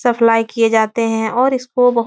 supply किए जाते हैं और इसको बहुत --